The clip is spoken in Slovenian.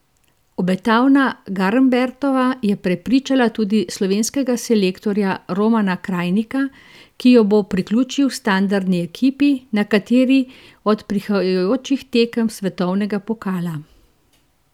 Obetavna Garnbretova je prepričala tudi slovenskega selektorja Romana Krajnika, ki jo bo priključil standardni ekipi na kateri od prihajajočih tekem svetovnega pokala.